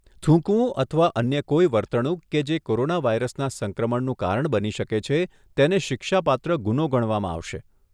થૂંકવું અથવા અન્ય કોઈ વર્તણૂક કે જે કોરોનાવાયરસના સંક્રમણનું કારણ બની શકે છે અને તેને શિક્ષાપાત્ર ગુનો ગણવામાં આવશે.